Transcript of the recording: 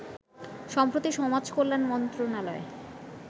সম্প্রতি, সমাজকল্যান মন্ত্রনালয়